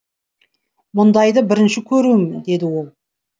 мұндайды бірінші көруім деді ол